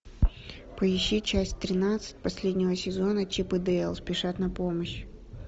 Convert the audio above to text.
поищи часть тринадцать последнего сезона чип и дейл спешат на помощь